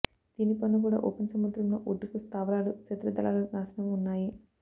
దీని పనులు కూడా ఓపెన్ సముద్రంలో ఒడ్డుకు స్థావరాలు శత్రు దళాలు నాశనం ఉన్నాయి